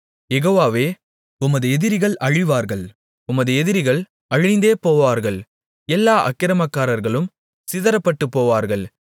யெகோவாவே உமது எதிரிகள் அழிவார்கள் உமது எதிரிகள் அழிந்தேபோவார்கள் எல்லா அக்கிரமக்காரர்களும் சிதறப்பட்டுபோவார்கள்